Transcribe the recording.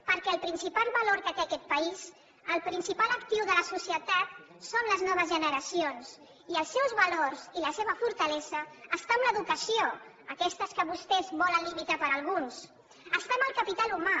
perquè el principal valor que té aquest país el principal actiu de la societat són les noves generacions i les seus valors i la seva fortalesa estan en l’educació aquesta que vostès volen limitar per a alguns està en el capital humà